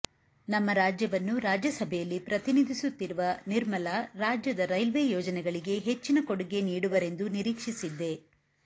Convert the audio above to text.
ನಮ್ಮ ರಾಜ್ಯವನ್ನು ರಾಜ್ಯಸಭೆಯಲ್ಲಿ ಪ್ರತಿನಿಧಿಸುತ್ತಿರುವ ನಿರ್ಮಲಾ ರಾಜ್ಯದ ರೈಲ್ವೆ ಯೋಜನೆಗಳಿಗೆ ಹೆಚ್ಚಿನ ಕೊಡುಗೆ ನೀಡುವರೆಂದು ನಿರೀಕ್ಷಿಸಿದ್ದೆ